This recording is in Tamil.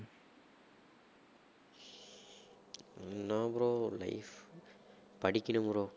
என்னா bro life படிக்கணும் bro